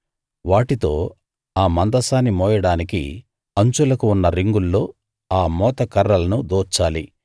వాటితో ఆ మందసాన్ని మోయడానికి అంచులకు ఉన్న రింగుల్లో ఆ మోతకర్రలను దూర్చాలి